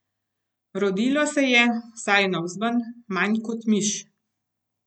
Rodilo se je, vsaj navzven, manj kot miš.